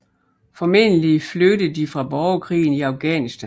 Formentlig flygtede de fra borgerkrigen i Afghanistan